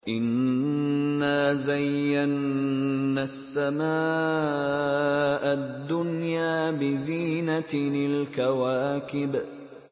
إِنَّا زَيَّنَّا السَّمَاءَ الدُّنْيَا بِزِينَةٍ الْكَوَاكِبِ